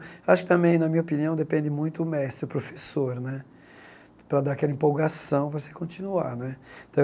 Acho que também, na minha opinião, depende muito o mestre, o professor né, para dar aquela empolgação para você continuar né.